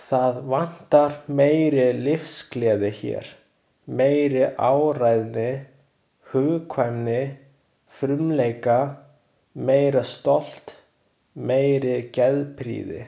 Það vantar meiri lífsgleði hér, meiri áræðni, hugkvæmni, frumleika, meira stolt, meiri geðprýði.